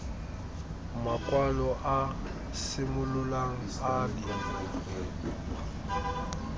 makwalo a simololang a le